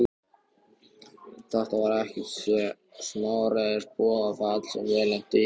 Þetta var ekkert smáræðis boðafall sem ég lenti í!